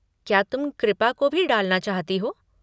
क्या तुम कृपा को भी डालना चाहती हो?